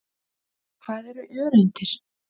Hvað eru öreindir?